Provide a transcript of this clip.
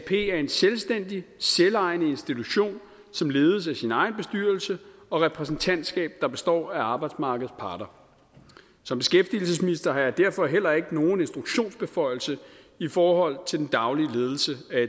er en selvstændig selvejende institution som ledes af sin egen bestyrelse og repræsentantskab der består af arbejdsmarkedets parter som beskæftigelsesminister har jeg derfor heller ikke nogen instruktionsbeføjelse i forhold til den daglige ledelse af